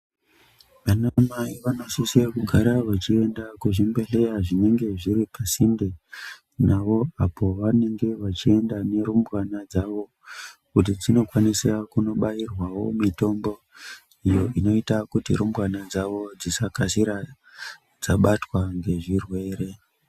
Vanamai vanosise kugara vechienda kuzvibhedhleya zvinenge zviri pasinde navo, apo vanenge vachienda nerumbwana dzavo. Kuti dzinokwanisa kubairwawo mitombo iyo inoita kuti rumbwana dzavo dzisakasira dzabatwa ngezvirwere.